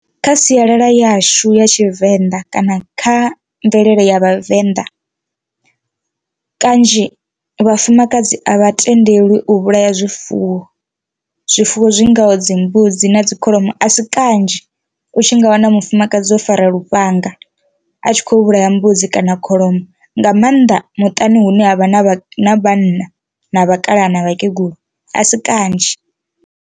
Kha sialala yashu ya tshivenḓa kana kha mvelele ya vhavenḓa kanzhi vhafumakadzi a vha tendelwi u vhulaya zwifuwo zwifuwo zwi ngaho dzi mbudzi na kholomo, a si kanzhi u tshi nga wana mufumakadzi o fara lufhanga a tshi kho vhulaya mbudzi kana kholomo nga maanḓa muṱani hune havha na vhanna na vhakalaha na vhakegulu a si kanzhi.